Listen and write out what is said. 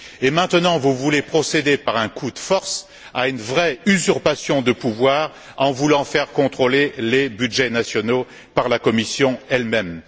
Et maintenant, vous voulez procéder, par un coup de force, à une vraie usurpation de pouvoir en voulant faire contrôler les budgets nationaux par la Commission elle même.